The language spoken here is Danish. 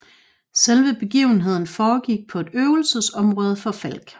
Selve begivenheden foregik på et øvelsesområde for Falck